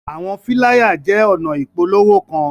Awọn filaya jẹ ọna ipolowo kan